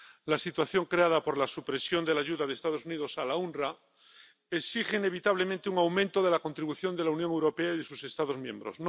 La situación creada por la supresión de la ayuda de los Estados Unidos al OOPS exige inevitablemente un aumento de la contribución de la Unión Europea y de sus Estados miembros.